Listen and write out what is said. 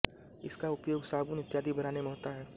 इसका उपयोग साबून इत्यादि बनाने में होता है